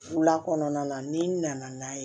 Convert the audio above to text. Wula kɔnɔna na n'i nana n'a ye